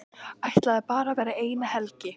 Ætlaði bara að vera eina helgi.